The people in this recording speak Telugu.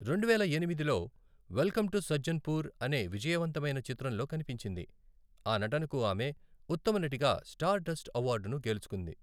రెండువేల ఎనిమిదిలో వెల్కమ్ టు సజ్జన్పూర్ అనే విజయవంతమైన చిత్రంలో కనిపించింది, ఆ నటనకు ఆమె ఉత్తమ నటిగా స్టార్ డస్ట్ అవార్డును గెలుచుకుంది.